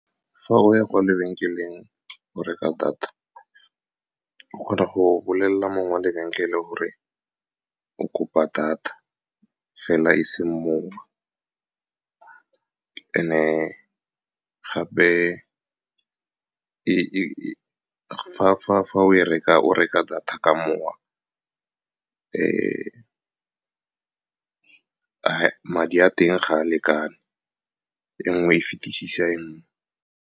Fa o ya kwa lebenkeleng go reka data, o kgona go bolelela mongwe wa lebenkele gore o kopa data fela, e seng mowa. Fnd-e gape . Fa o reka data ka mowa, madi a teng ga a lekane, e nngwe e fitisisa e nngwe.